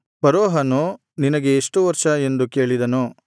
ಫರೋಹನು ನಿನಗೆ ಈಗ ಎಷ್ಟು ವರ್ಷ ಎಂದು ಕೇಳಿದನು